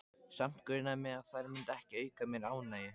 Samt grunaði mig að þær myndu ekki auka mér ánægju.